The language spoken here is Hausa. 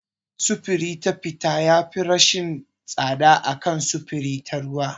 Sufuri ta fiti yafi rashin tsada a kan sufuri ta ruwa.